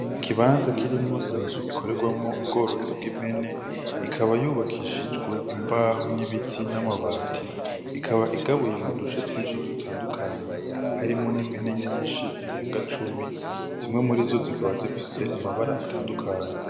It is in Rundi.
Ikibanza kirimwo inzu ikoregwamwo ubworozi bw'impene ikaba yubakishijwe imbaho ibiti n' amabati ikaba igabuye mu duce twinshi dutandukanye harimwo n’ impene nyinshi zirenga cumi zimwe murizo zikaba zifise amabara atandukanye.